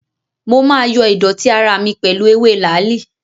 Mo máa yo¸idọ̀tí ara mi pẹ̀lú ewé làálì.